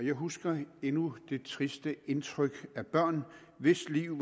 jeg husker endnu det triste indtryk af børn hvis liv